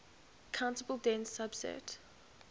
countable dense subset